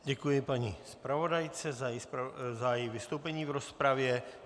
Děkuji paní zpravodajce za její vystoupení v rozpravě.